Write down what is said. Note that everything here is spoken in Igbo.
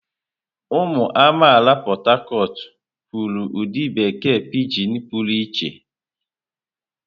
Ụmụ amaala Port Harcourt kwuru ụdị bekee pijin pụrụ iche.